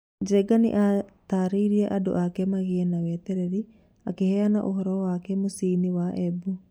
Njengena nĩatarĩte andũ ake magĩe na wĩtereri akĩheana ũhoro wake mũcĩinĩ wa Embu